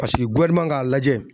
Paseke k'a lajɛ.